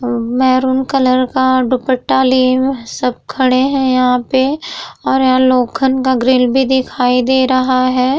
और maroon colour का दुपट्टा लिए हुए सब खड़े हैं यहाँ पे और यहा लोखन का ग्रिल भी दिखाई दे रहा है।